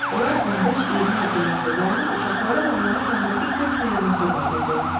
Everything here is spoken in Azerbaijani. Onlar 15-20 addımlıqda dayanıb uşaqlara və onların yanındakı kök Merinosa baxırdılar.